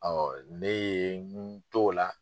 ne ye n to o la.